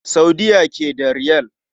A Saudiya ake da Riyal.